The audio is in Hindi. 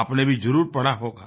आपने भी जरुर पढ़ा होगा